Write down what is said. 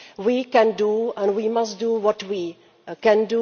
We can, and we must do what we can.